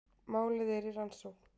Málið er í rannsókn